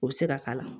O bɛ se ka s'a la